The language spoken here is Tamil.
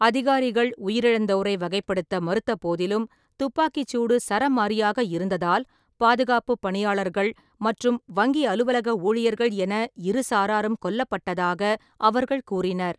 அதிகாரிகள் உயிரிழந்தோரை வகைப்படுத்த மறுத்த போதிலும், துப்பாக்கிச் சூடு சராமாரியாக இருந்ததால் பாதுகாப்புப் பணியாளர்கள் மற்றும் வங்கி அலுவலக ஊழியர்கள் என இரு சாராரும் கொல்லப்பட்டதாக அவர்கள் கூறினர்.